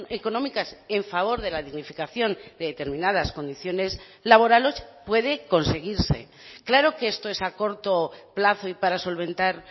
económicas en favor de la dignificación de determinadas condiciones laborales puede conseguirse claro que esto es a corto plazo y para solventar